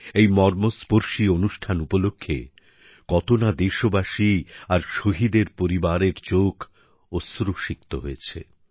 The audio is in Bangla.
এই মর্মস্পর্শী অনুষ্ঠান উপলক্ষে কত না দেশবাসী আর শহীদের পরিবারের চোখ অশ্রুসিক্ত হয়েছে